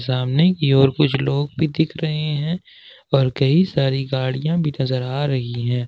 सामने की ओर कुछ लोग भी दिख रहे है और कई सारी गाड़ियां भी नजर आ रही है।